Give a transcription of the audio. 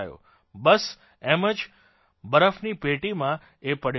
બસ એમ જ બરફની પેટીમાં એ પડ્યો રહ્યો છે